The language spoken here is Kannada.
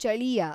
ಚಳಿಯ